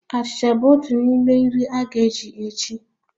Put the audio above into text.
Achịcha bụ otu n'ime nri a ga-eji echi